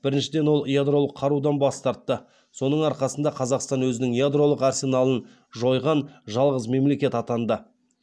біріншіден ол ядролық қарудан бас тартты соның арқасында қазақстан өзінің ядролық арсеналын жойған жалғыз мемлекет атанды